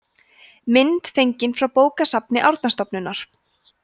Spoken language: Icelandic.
mynd fengin frá bókasafni árnastofnunar